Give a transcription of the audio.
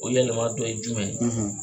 O yɛlɛma dɔ ye jumɛn ye?